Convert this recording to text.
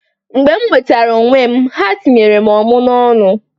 Mgbe m nwetara onwe m, ha tinyere m ọmụ n'ọnụ.